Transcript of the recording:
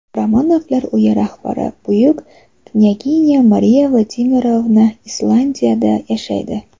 Romanovlar uyi rahbari buyuk knyaginya Mariya Vladimirovna Ispaniyada yashaydi.